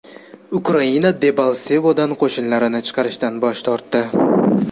Ukraina Debalsevodan qo‘shinlarini chiqarishdan bosh tortdi.